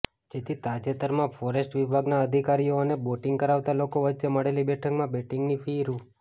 જેથી તાજેતરમાં ફોરેસ્ટ વિભાગના અધિકારીઓ અને બોટિંગ કરાવતા લોકો વચ્ચે મળેલી બેઠકમાં બોટિંગની ફી રૂા